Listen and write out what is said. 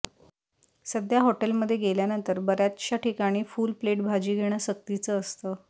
सध्या हॉटेलमध्ये गेल्यानंतर बऱ्याचशा ठिकाणी फुल प्लेट भाजी घेणं सक्तीचं असतं